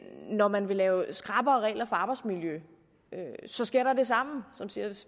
når man vil lave skrappere regler for arbejdsmiljø sker der det samme så siger